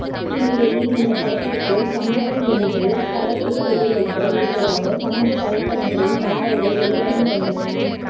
இந்நிலையில் இந்த படத்திற்கு சம்பவம் என்று படக்குழு பெயர் வைக்க இருப்பதாக சமூக வலைதளங்களில் தகவல்கள் வெளியாகி வந்தன